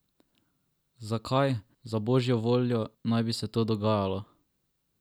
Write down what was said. Zakaj, za božjo voljo, naj bi se to dogajalo?